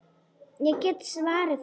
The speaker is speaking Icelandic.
Ég get svarið það.